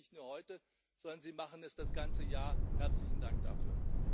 Sie machen das nicht nur heute, sondern sie machen es das ganze Jahr. Herzlichen Dank dafür.